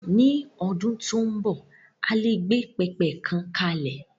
Ni ọdún tó ń bọ̀, a lè gbé pẹpẹ kan kalẹ̀.